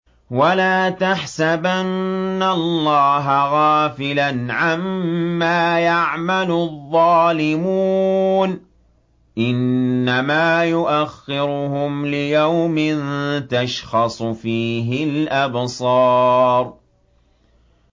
وَلَا تَحْسَبَنَّ اللَّهَ غَافِلًا عَمَّا يَعْمَلُ الظَّالِمُونَ ۚ إِنَّمَا يُؤَخِّرُهُمْ لِيَوْمٍ تَشْخَصُ فِيهِ الْأَبْصَارُ